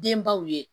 Denbaw ye